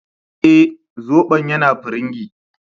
Eh, Zobon yana firingi